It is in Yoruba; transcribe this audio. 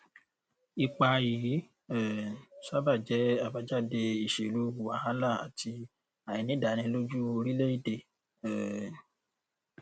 ipa yìí um sábà jẹ àbájáde ìṣèlú wàhálà àti àìnídàánilójú orílẹèdè um